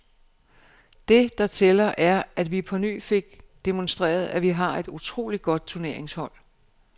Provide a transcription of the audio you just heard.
Det, der tæller, er, at vi på ny fik demonstreret, at vi har et utroligt godt turneringshold.